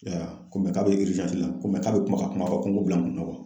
I y'a wa ko mɛ k'a bɛ la ko mɛ k'a bɛ kuma ka kuma ko n ko bila n kunna